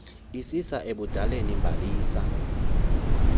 isisa ebudaleni bhalisa